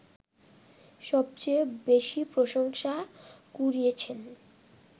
সবচেয়ে বেশি প্রশংসা কুড়িয়েছেন